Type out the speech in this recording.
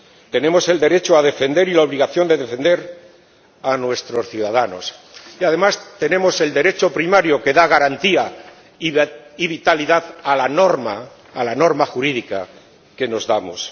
Tenemos el derecho a defender y la obligación de defender a nuestros ciudadanos y además tenemos el Derecho primario, que da garantía y vitalidad a la norma jurídica que nos damos.